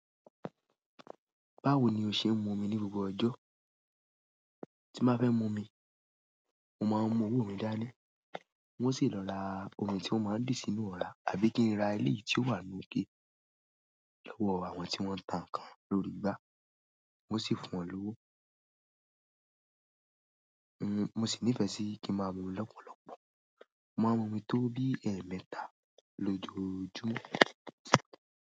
Báwo ni o ṣe ń mu omi ní gbogbo ọjọ́? Tí n báa fẹ́ mu omi, mo máa ń mu owó mi dání. Wọ́n sì lọ ra omi tí ó máa ń dì sínú ọra àbí kí n ra eléyìí tí ó wà nu ike lowọ̀ àwọn tí wọ́n ń tà ǹkan lórí igbá. Wọ́n sì fún wọn lówó. Mo sì nífẹ̀ẹ́ sí kí ń máa mu omi lọ́pọ̀lọpọ̀. Mo máa ń mu omi tó bí ẹẹ́mẹ́ta lójoojúmọ́.